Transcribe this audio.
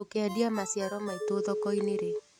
Tũkendia maciaro maitũ thokoinĩ rĩ.